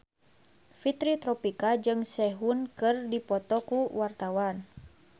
Fitri Tropika jeung Sehun keur dipoto ku wartawan